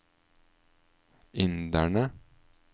inderne